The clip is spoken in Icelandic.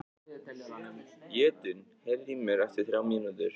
Jötunn, heyrðu í mér eftir þrjár mínútur.